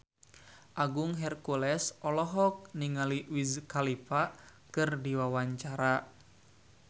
Agung Hercules olohok ningali Wiz Khalifa keur diwawancara